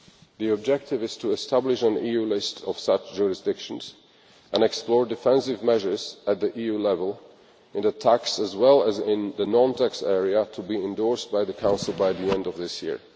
The objective is to establish an EU list of such jurisdictions and explore defensive measures at EU level, in the tax as well as in the non tax area, to be endorsed by the Council by the end of this year.